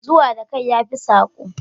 Zuwa da kai yafi sako